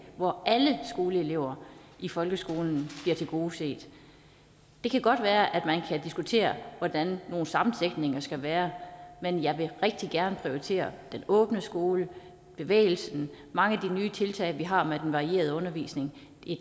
hvor alle skoleelever i folkeskolen bliver tilgodeset det kan godt være at man kan diskutere hvordan nogle sammensætninger skal være men jeg vil rigtig gerne prioritere den åbne skole bevægelsen mange af de nye tiltag vi har med den varierede undervisning